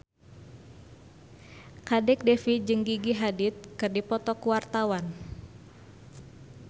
Kadek Devi jeung Gigi Hadid keur dipoto ku wartawan